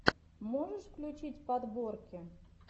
можешь включить подборки